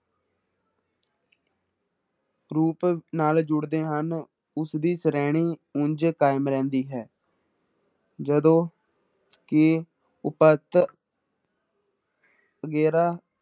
ਰੂਪ ਨਾਲ ਜੁੜਦੇ ਹਨ, ਉਸਦੀ ਸ਼੍ਰੇਣੀ ਉੰਞ ਕਾਇਮ ਰਹਿੰਦੀ ਹੈ ਜਦੋਂ ਕਿ ਉਪਤ ਅਗੇਰਾ